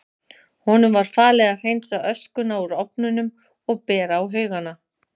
Honum var falið að hreinsa öskuna úr ofnunum og bera á haugana.